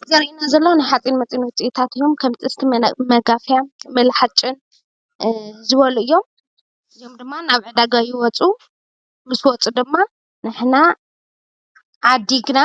ትግራይ ዘለና ሓፂን መፂን ውፂኢታቱ ከም ጥስቲ፣ መጋፍያ፣ መቁሎ ሓጪን ዝበሉ እዮም፡፡ እዚኦም ድማ ናብ ዕዳጋ ይወፁ፤ ምስ ወፁ ድማ ንሕና ዓዲግና